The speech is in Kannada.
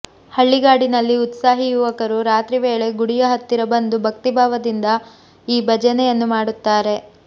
ಹಳ್ಳಿಗಾಡಿನಲ್ಲಿ ಉತ್ಸಾಹಿ ಯುವಕರು ರಾತ್ರಿ ವೇಳೆ ಗುಡಿಯ ಹತ್ತಿರ ಬಂದು ಭಕ್ತಿಭಾವದಿಂದ ಈ ಭಜನೆಯನ್ನು ಮಾಡುತ್ತಾರೆ